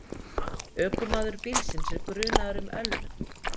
Ökumaður bílsins er grunaður um ölvun